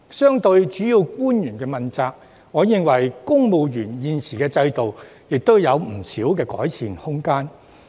相對於主要官員問責制，我認為現時的公務員制度亦有不少改善空間。